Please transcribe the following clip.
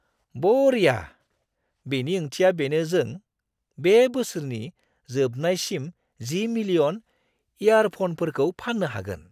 बरिया! बेनि ओंथिया बेनो जों बे बोसोरनि जोबनायसिम 10 मिलियन इयारफ'नफोरखौ फान्नो हागोन!